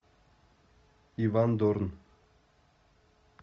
иван дорн